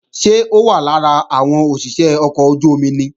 Ṣé ó wà lára àwọn òṣìṣé ọkọ̀ ojú-omi ni?